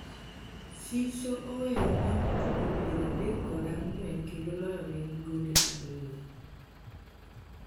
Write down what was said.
Siso oweyo mwandu tugo piero adek kod ang'wen kendo loyonegi gonde ariyo